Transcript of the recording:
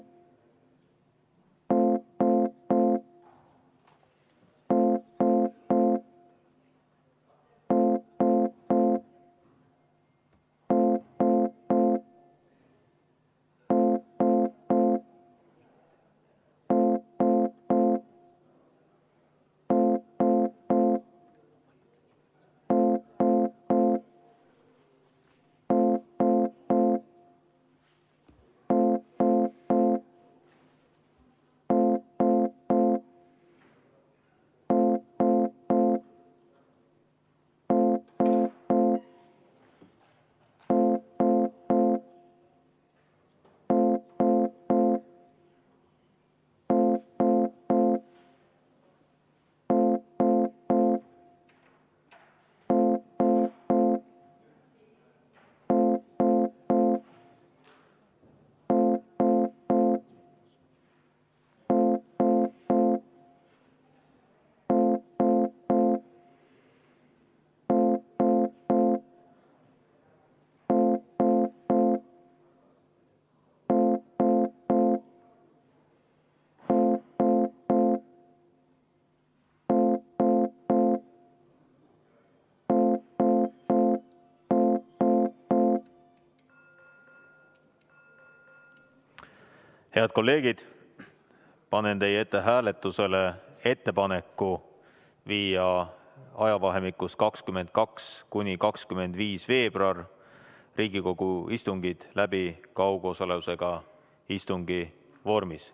Head kolleegid, panen teie ette hääletusele ettepaneku viia ajavahemikus 22.–25. veebruar Riigikogu istungid läbi kaugosalusega istungi vormis.